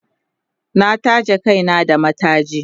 na taje Kai na da mataji